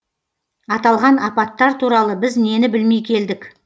аталған апаттар туралы біз нені білмей келдік